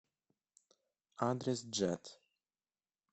адрес джет